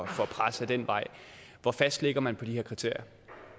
for pres ad den vej hvor fast har man på de her kriterier